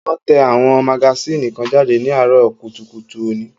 Wón tẹ àwọn magasínì kan jáde ní àárọ̀ kùtùkùtù òní